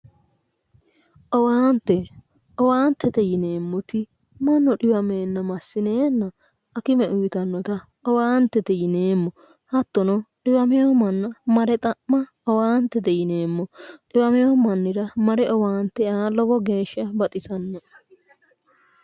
Owaante owaantete yineemmoti mannu xiwameenna massinannita hakime uyiitannota Owaantete yineemmo hattono xiwamino manna mare xa'ma owaantete yineemmo xiwamino mannira mare owaante aa lowo geeshsha baxisannoe.